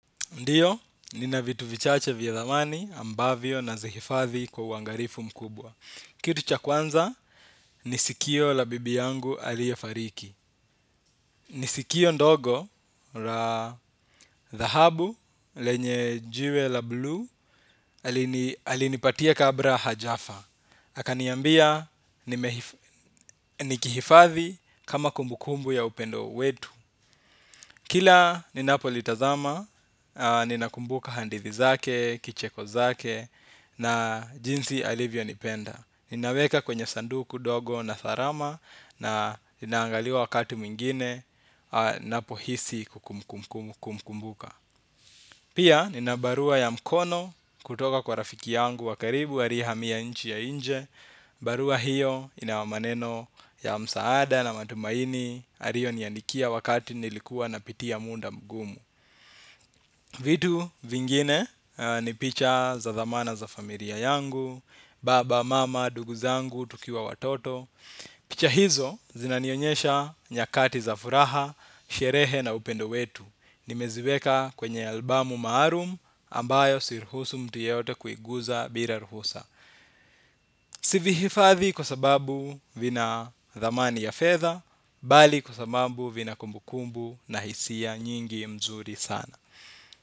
Ndiyo, nina vitu vichache vya dhamani ambavyo nazihifadhi kwa uangalifu mkubwa. Kitu cha kwanza, ni sikio la bibi yangu aliye fariki. Ni sikio ndogo la dhahabu lenye jiwe la blue alinipatia kabla hajafa. Akaniambia nikihifadhi kama kumbukumbu ya upendo wetu. Kila ninapo litazama, ninakumbuka hadithi zake, kicheko zake na jinsi alivyo nipenda. Ninaweka kwenye sanduku dogo na tharama na inaangaliwa wakati mwingine ninapohisi kumkumbuka. Pia nina barua ya mkono kutoka kwa rafiki yangu wa karibu aliye hamia nchi ya nje. Barua hiyo ina maneno ya msaada na matumaini aliyoniandikia wakati nilikuwa napitia muda mgumu. Vitu vingine ni picha za dhamana za familia yangu. Baba, mama, ndugu zangu, tukiwa watoto. Picha hizo zinanionyesha nyakati za furaha, sherehe na upendo wetu. Nimeziweka kwenye albamu maalum ambayo siruhusu mtu yeyote kuiguza bila ruhusa. Sivihifadhi kwa sababu vina dhamani ya fedha. Bali kwa sababu vina kumbukumbu na hisia nyingi mzuri sana.